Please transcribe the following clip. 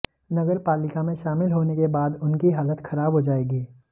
नगरपालिका में शामिल होने के बाद उनकी हालत खराब हो जाएगी